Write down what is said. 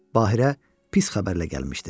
Baqira pis xəbərlə gəlmişdi.